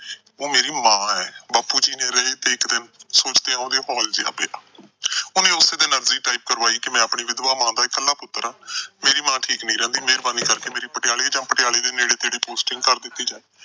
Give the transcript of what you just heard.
ਉਹ ਮੇਰੀ ਮਾਂ ਏ। ਬਾਪੂ ਜੀ ਨਹੀਂ ਰਹੇ ਤੇ ਇੱਕ ਦਿਨ ਸੋਚਦਿਆਂ ਉਹਦੇ ਹੋਲ ਜਿਹਾ ਪਿਆ। ਉਹਨੇ ਉਸੇ ਦਿਨ ਅਰਜੀ type ਕਰਵਾਈ ਕਿ ਮੈਂ ਆਪਣੀ ਵਿਧਵਾ ਮਾਂ ਦਾ ਇੱਕਲਾ ਪੁੱਤਰ ਆ। ਮੇਰੀ ਮਾਂ ਠੀਕ ਨਹੀਂ ਰਹਿੰਦੀ। ਮੇਹਰਬਾਨੀ ਕਰਕੇ ਮੇਰੀ ਪਟਿਆਲੇ ਜਾਂ ਪਟਿਆਲੇ ਦੇ ਨੇੜੇ-ਤੇੜੇ posting ਕਰ ਦਿੱਤੀ ਜਾਏ।